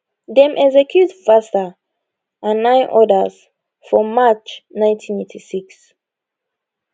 dem execute vatsa and nine odas for march 1986